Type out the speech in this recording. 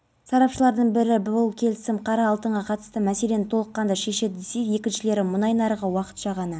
сурет желісіндегі парақшасында пайда болды бірақ онда оқиғаның қашан және қай жерде болғаны айтылмайды дегенмен полицей